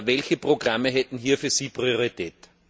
Welche Programme hätten hier für Sie Priorität?